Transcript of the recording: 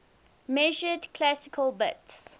measured classical bits